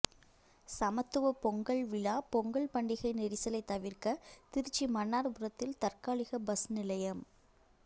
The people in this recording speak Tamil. சமத்துவ பொங்கல் விழா பொங்கல் பண்டிகை நெரிசலை தவிர்க்க திருச்சி மன்னார்புரத்தில் தற்காலிக பஸ் நிலையம்